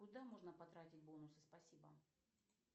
куда можно потратить бонусы спасибо